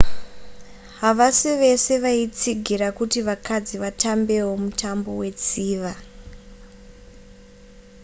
havasi vese vaitsigira kuti vakadzi vatambewo mutambo wetsiva